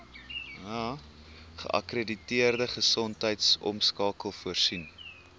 geakkrediteerde gesondheidsorgmakelaar voorsien